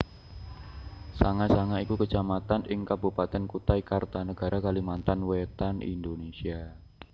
Sanga Sanga iku Kecamatan ing Kabupatèn Kutai Kartanegara Kalimantan Wétan Indonesia